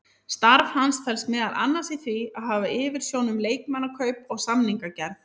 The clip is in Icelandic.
Starf hans felst meðal annars í að hafa yfirsjón um leikmannakaup og samningagerð.